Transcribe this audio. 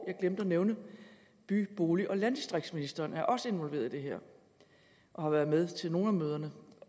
jeg glemte at nævne at by bolig og landdistriktsministeren også er involveret i det her og har været med til nogle af møderne